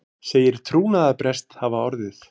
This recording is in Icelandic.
Segir trúnaðarbrest hafa orðið